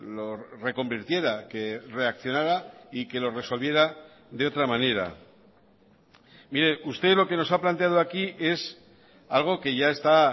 lo reconvirtiera que reaccionara y que lo resolviera de otra manera mire usted lo que nos ha planteado aquí es algo que ya está